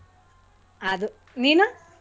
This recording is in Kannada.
ಅದು. ನೀನು?